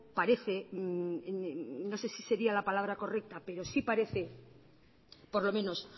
parece no sé si sería la palabra correcta pero sí parece por lo menos